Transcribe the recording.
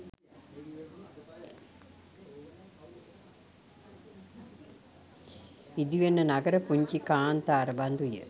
ඉදිවෙන නගර පුංචි කාන්තාර බඳුය.